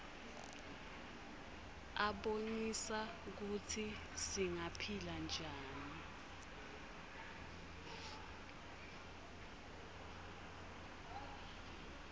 abonisa kutsi singaphila njani